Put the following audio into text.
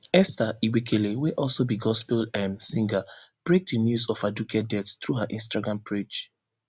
esther igbekele wey also be gospel um singer break di news ofaduke deaththrough her instagram page